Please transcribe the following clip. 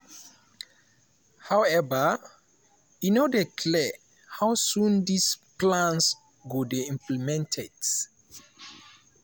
however e no dey clear how soon dis plans go dey implemented.